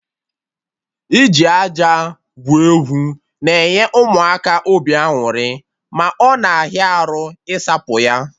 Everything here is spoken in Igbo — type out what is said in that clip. Iji aja gwuo egwu na-enye Ụmụaka obi aṅụrị, ma ọ na ahịa arụ isapụ ya